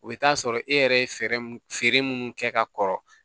O bɛ taa sɔrɔ e yɛrɛ ye fɛɛrɛ mun feere munnu kɛ ka kɔrɔ